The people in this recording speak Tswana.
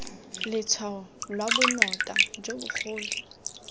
letshwao lwa bonota jo bogolo